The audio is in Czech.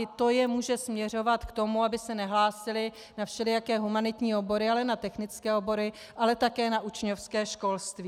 I to je může směrovat k tomu, aby se nehlásili na všelijaké humanitní obory, ale na technické obory a také na učňovské školství.